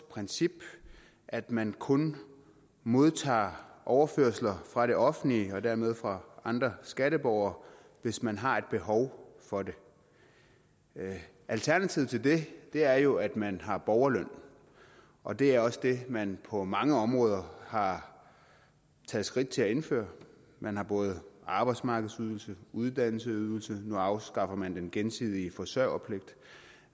princip at man kun modtager overførsler fra det offentlige og dermed fra andre skatteborgere hvis man har et behov for det alternativet til det er jo at man har borgerløn og det er også det man på mange områder har taget skridt til at indføre man har både arbejdsmarkedsydelse og uddannelsesydelse og nu afskaffer man den gensidige forsørgerpligt